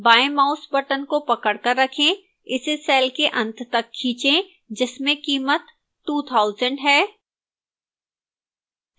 बाएं mouse button को पकड़कर रखें इसे cell के अंत तक खींचें जिसमें कीमत 2000 है